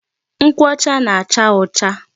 Nkwụ ọcha na-acha ọcha.